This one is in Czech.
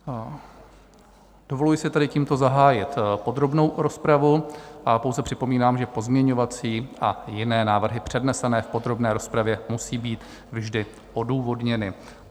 Dovoluji si tedy tímto zahájit podrobnou rozpravu a pouze připomínám, že pozměňovací a jiné návrhy přednesené v podrobné rozpravě musí být vždy odůvodněny.